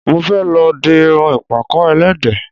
Mo fẹ́ lọ di irun ìpàkọ́ ẹlẹ́dẹ̀